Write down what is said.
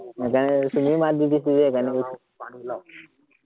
সেইকাৰণে তুমিও মাত দি দিছা যে, সেইকাৰণে কৈছো।